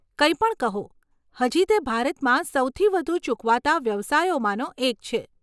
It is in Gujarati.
કંઈ પણ કહો, હજી તે ભારતમાં સૌથી વધુ ચૂકવાતા વ્યવસાયોમાંનો એક છે.